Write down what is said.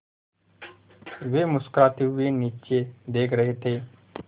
वे मुस्कराते हुए नीचे देख रहे थे